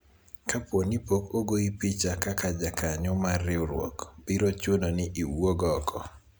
kapo ni pok ogoyi picha kaka jakanyo mar riwruok ,biro chuno ni iwuog oko